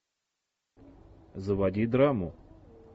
заводи драму